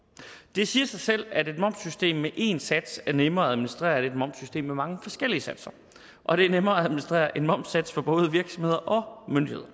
det siger sig selv at et momssystem med én sats er nemmere at administrere end et momssystem med mange forskellige satser og det er nemmere at administrere én momssats for både virksomheder og myndigheder